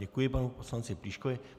Děkuji panu poslanci Plíškovi.